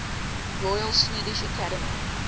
royal swedish academy